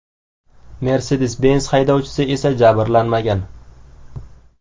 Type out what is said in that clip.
Mercedes-Benz haydovchisi esa jabrlanmagan.